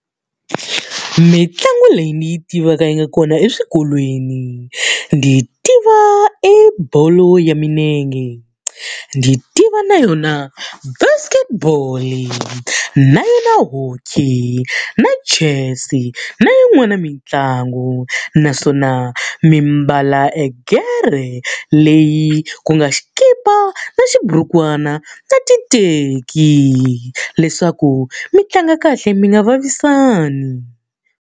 Mitlangu leyi ni yi tivaka yi nga kona eswikolweni. Ni tiva ebolo ya milenge, ni tiva na yona basketball-i na yona hockey, na chess-i na yin'wana mitlangu. Naswona mi mbala egere leyi ku nga xikipa na xiburukwana na titeki leswaku mi tlanga kahle mi nga vavisani.